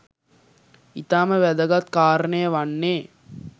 ඉතාම වැදගත් කාරණය වන්නේ